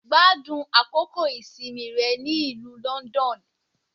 Gbádùn àkókò ìsinmi rẹ ní ìlú London